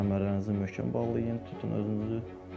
Kəmərlərinizi möhkəm bağlayın, tutun özünüzü.